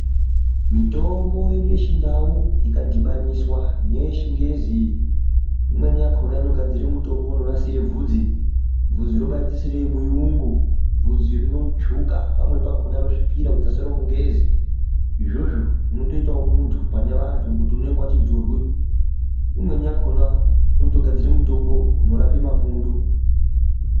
Mitombo yedu yechindau, ikadhibaniswa neyechingezi, imweni yakhona inogadzira mutombo unonasire bvunzi. Vhudzi robaaite seremuyungu, vhudzi rinotsvuka, pamweni pakhona rosvipira kuita seromungezi. Izvozvo zvinotoitawo muntu pane vantu ngokuti inenge wati njurwi. Imweni yakhona inotogadzire mitombo inorapa mapundu.